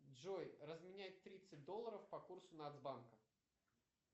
джой разменять тридцать долларов по курсу нацбанка